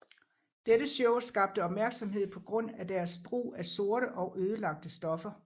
Dette show skabte opmærksomhed på grund af deres brug af sorte og ødelagte stoffer